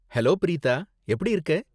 Hello Preetha. எப்படி இருக்க?